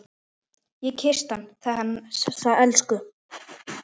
Ég kyssti hann, þessa elsku.